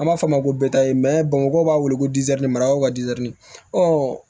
An b'a fɔ a ma ko bamakɔ b'a wele ko maraw ka di